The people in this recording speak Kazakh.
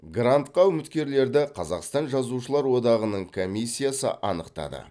грантқа үміткерлерді қазақстан жазушылар одағының комиссиясы анықтады